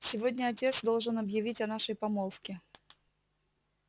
сегодня отец должен объявить о нашей помолвке